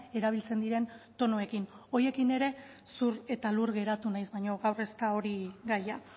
erabiltzen diren tonuekin horiekin ere zur eta lur geratu naiz baina gaur ez da hori gaia